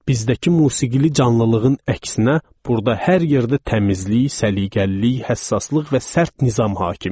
Bizdəki musiqili canlılığın əksinə, burda hər yerdə təmizlik, səliqəlilik, həssaslıq və sərt nizam hakimdir.